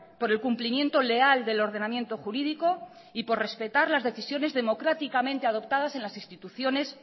por el cumplimiento leal del ordenamiento jurídico y por respetar las decisiones democráticamente adoptadas en las instituciones